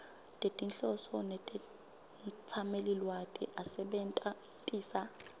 tetinhloso netetsamelilwati asebentisa